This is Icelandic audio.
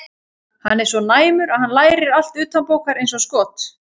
Hann er svo næmur að hann lærir allt utanbókar eins og skot.